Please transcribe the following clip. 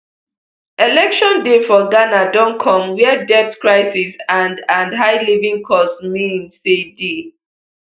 election day for ghana don comewia debt crisis and and high living costs mean say di